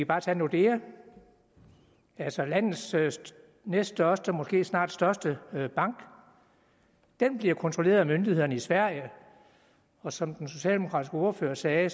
bare tage nordea altså landets næststørste og måske snart største bank den bliver kontrolleret af myndighederne i sverige og som den socialdemokratiske ordfører sagde